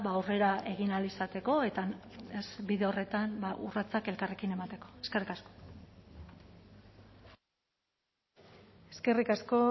aurrera egin ahal izateko eta bide horretan urratsak elkarrekin emateko eskerrik asko eskerrik asko